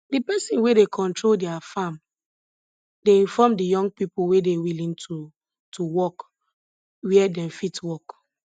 the person wey dey control their farm dey inform the young people wey dey willing to to work where dem fit work